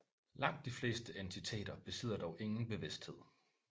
Langt de fleste entiteter besidder dog ingen bevidsthed